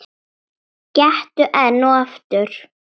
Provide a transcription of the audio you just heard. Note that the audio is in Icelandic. Gettu enn og aftur.